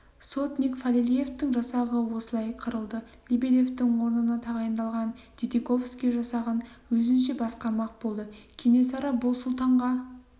сотник фалилеевтің жасағы осылай қырылды лебедевтің орнына тағайындалған дидиковский жасағын өзінше басқармақ болды кенесары бұл сұлтанға